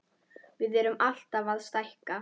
Við erum alltaf að stækka.